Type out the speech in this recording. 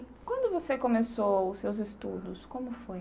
E quando você começou os seus estudos, como foi?